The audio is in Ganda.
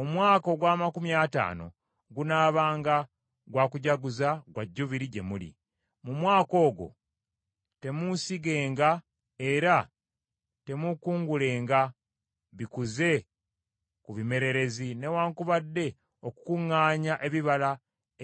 Omwaka ogw’amakumi ataano gunaabanga gwa kujaguza gwa Jjubiri gye muli; mu mwaka ogwo temuusigenga era temuukungulenga bikuze ku bimererezi newaakubadde okukuŋŋaanya ebibala